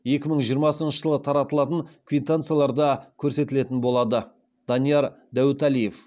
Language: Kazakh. екі мың жиырмасыншы жылы таратылатын квитанцияларда көрсетілетін болады данияр дәуіталиев